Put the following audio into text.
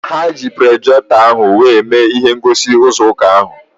Ha ji projektọ ahụ were mee ihe ngosi nzukọ ha